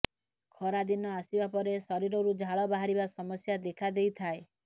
ଖରାଦିନ ଆସିବା ପରେ ଶରୀରରୁ ଝାଳ ବାହାରିବା ସମସ୍ୟା ଦେଖା ଦେଇଥାଏ